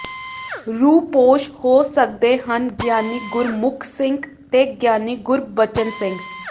ਰੂਪੋਸ਼ ਹੋ ਸਕਦੇ ਹਨ ਗਿਆਨੀ ਗੁਰਮੁੱਖ ਸਿੰਘ ਤੇ ਗਿਆਨੀ ਗੁਰਬਚਨ ਸਿੰਘ